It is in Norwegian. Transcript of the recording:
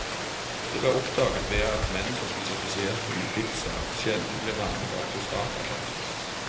Det ble oppdaget ved at menn som spiser spesielt mye pizza, sjelden blir rammet av prostatakreft.